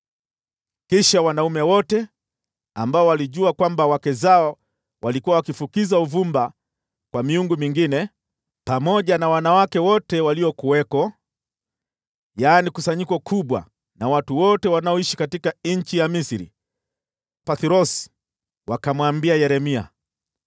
Kisha wanaume wote ambao walijua kwamba wake zao walikuwa wakifukiza uvumba kwa miungu mingine, pamoja na wanawake wote waliokuwako, yaani, kusanyiko kubwa na watu wote walioishi nchi ya Misri na Pathrosi, wakamwambia Yeremia,